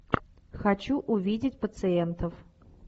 хочу увидеть пациентов